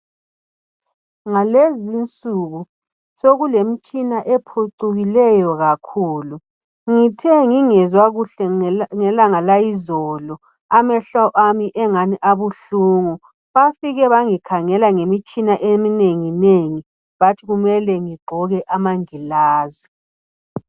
Ngalezi insuku sokulemitshina ephucukileyo kakhulu, ngithe ngingezwa kuhle ngelanga layizolo amehlo ami engani abuhlungu bafike bangikhangela ngemitshina eminengi nengi bathi kumele ngigqoke amangilazi.